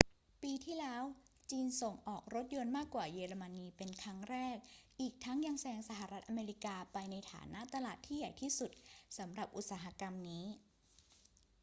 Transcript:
ปีที่แล้วจีนส่งออกรถยนต์มากกว่าเยอรมนีเป็นครั้งแรก อีกทั้งยังแซงสหรัฐอเมริกาไปในฐานะตลาดที่ใหญ่ที่สุดสำหรับอุตสาหกรรมนี้